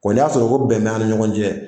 ni y'a sɔrɔ ko bɛn t'an ni ɲɔgɔn cɛ